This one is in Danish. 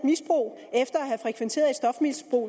misbrug